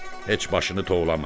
Heç başını tovlama.